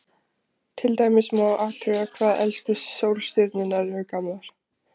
Til dæmis má athuga hvað elstu sólstjörnur eru gamlar.